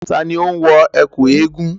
Ta ni ó ń wọ ẹ̀kú eégun?